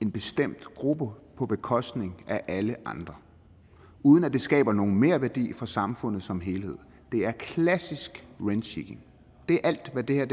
en bestemt gruppe på bekostning af alle andre uden at det skaber nogen merværdi for samfundet som helhed det er klassisk rent seeking det er alt hvad det her er